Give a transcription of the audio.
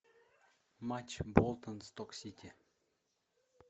матч болтон сток сити